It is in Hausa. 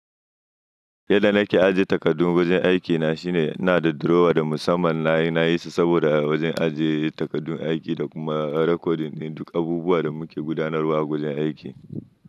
Yadda nake aje takardu wajen aikina shine, ina da drawer da musamman nayi, nayi sa saboda wajen ajiye takardun aiki da kuma recording ɗin duk abubuwan da muke gudanarwa a wajen aiki.